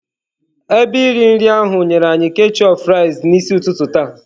Ebe iri nri ahụ nyere anyị ketchup fries n'isi ụtụtụ taa.